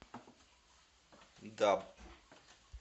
даб